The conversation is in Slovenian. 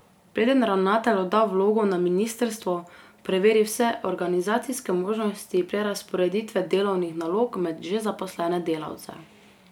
Preden ravnatelj odda vlogo na ministrstvo, preveri vse organizacijske možnosti prerazporeditve delovnih nalog med že zaposlene delavce.